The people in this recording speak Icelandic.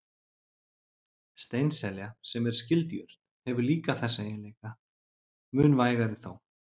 Steinselja, sem er skyld jurt, hefur líka þessa eiginleika, mun vægari þó.